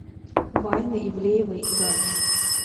вайны ивлеевой и галич